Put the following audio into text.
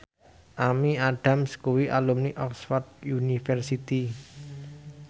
Amy Adams kuwi alumni Oxford university